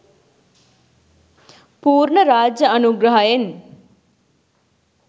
පූර්ණ රාජ්‍ය අනුග්‍රහයෙන්